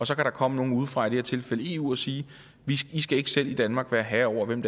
så kan komme nogle udefra i det her tilfælde eu og sige at i skal ikke selv i danmark være herre over hvem